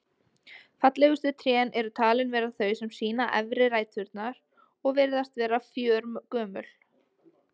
Fallegustu trén eru talin vera þau sem sýna efri ræturnar og virðast vera fjörgömul.